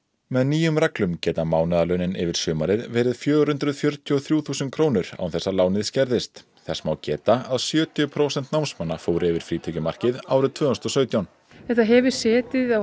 með nýjum reglum geta mánaðarlaunin yfir sumarið verið fjögur hundruð fjörutíu og þrjú þúsund krónur án þess að lánið skerðist þess má geta að sjötíu prósent námsmanna fóru yfir frítekjumarkið árið tvö þúsund og sautján þetta hefur setið á